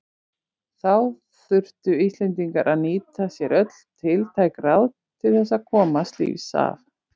Þá þurftu Íslendingar að nýta sér öll tiltæk ráð til þess að komast lífs af.